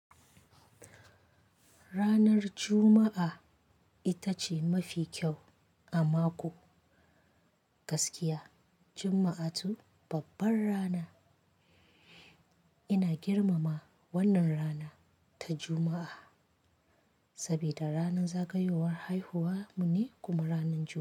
Ranar Juma'a ita ce mafi kyau a mako, gaskiya Juma'a tu babban rana. Ina girmama wannan rana ta Juma'a, sabida ranar zagayowar haihuwa mu ne kuma ranar Juma'a.